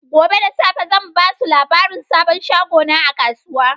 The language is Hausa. Gobe da safe zan ba su labarin sabon shagona a kasuwa.